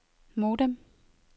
modem